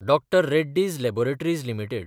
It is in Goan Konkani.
Dr Reddy's laboratories limited